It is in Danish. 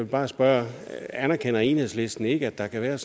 bare spørge anerkender enhedslisten ikke at der kan være